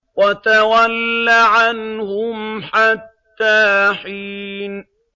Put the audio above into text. وَتَوَلَّ عَنْهُمْ حَتَّىٰ حِينٍ